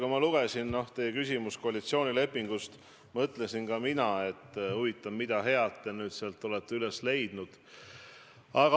Kui ma lugesin teie küsimuse teemat – koalitsioonileping –, siis ma mõtlesin, et huvitav, mida head te nüüd sealt olete leidnud.